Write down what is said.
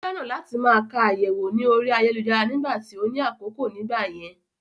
Ó fẹ́ràn láti máa ka àyẹ̀wò ní orí ayélujára nìgbà tí ó ní àkókò nìgbà yẹn